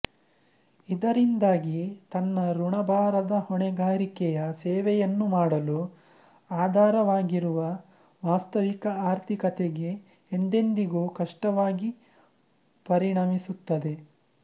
ಇದರಿಂದಾಗಿ ತನ್ನ ಋಣಭಾರದ ಹೊಣೆಗಾರಿಕೆಯ ಸೇವೆಯನ್ನು ಮಾಡಲು ಆಧಾರವಾಗಿರುವ ವಾಸ್ತವಿಕ ಆರ್ಥಿಕತೆಗೆ ಎಂದೆಂದಿಗೂ ಕಷ್ಟವಾಗಿ ಪರಿಣಮಿಸುತ್ತದೆ